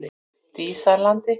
Dísarlandi